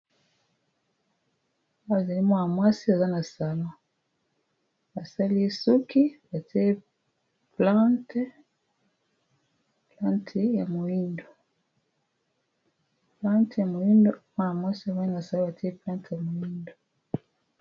Awa ezali Mwana mwasi asali na salon basali ye plante ya moyindu, mwana mwasi azali na salon batiye plante ya moyindo.